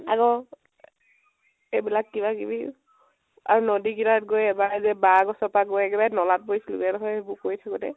আকৌ এইবিলাক কিবা কিবি আৰু নদী কেইতাত গৈ এবাৰ যে বাহ গছৰ পৰা গৈ নলাত পৰিছিলোগৈ । এইদোখৰ এইবিলাক কৰি থাকোতে